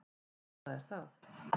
Þetta er það.